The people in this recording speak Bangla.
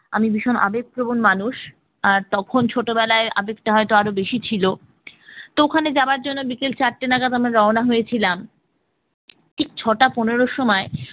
আমি ভীষণ আবেগপ্রবণ মানুষ তখন ছোটবেলায় আবেগটা হয়তো আরো বেশি ছিল তো ওখানে যাওয়ার জন্য বিকেল চারটে নাগাদ আমরা রওনা হয়েছিলাম ঠিক ছটা পনেরো সময়